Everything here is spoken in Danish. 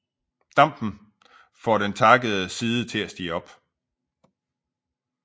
Dampen får den takkede side til at stige op